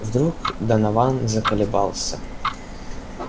вдруг донован заколебался